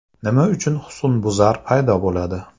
Nima uchun husnbuzar paydo bo‘ladi?